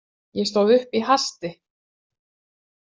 Ég stóð upp í hasti.